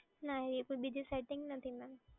ના એ તો બીજી સેટિંગ નથી મેડમ.